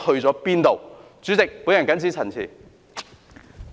代理主席，我謹此陳辭。